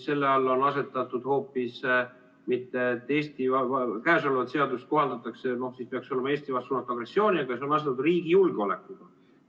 Selle alla on asetatud hoopis see, peaks olema, et käesolevat seadust kohaldatakse Eesti vastu suunatud agressiooni puhul, aga see on asendatud riigi julgeolekuga.